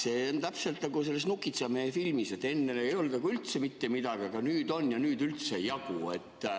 See on täpselt nagu "Nukitsamehe" filmis, et enne ei olnud üldse mitte midagi, aga nüüd on ja nüüd ei jagu.